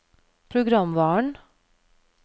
programvaren